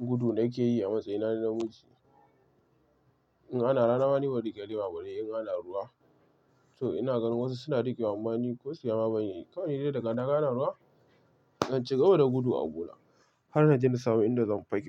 gudu nake yi a matsayi na namiji. In ana rana, ba ne rike lema bare in ana ruwa. To ina gan wasu suna riƙewa, amma ni kosaya ma ban iyayi. Kawai dai daga naga ana ruwa, zan cigaba da gudu abuna har na je na samu inda zan fake.